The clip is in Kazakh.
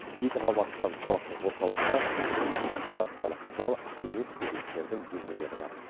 екі қабаттан тұратын орталықта ресепшн операциялық зал кеңес берушілердің бөлмелері бар